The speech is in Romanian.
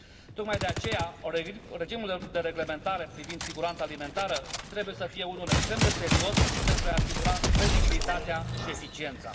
Tocmai de aceea, regimul de reglementare privind siguranța alimentară trebuie să fie unul extrem de serios, pentru a i asigura credibilitatea și eficiența.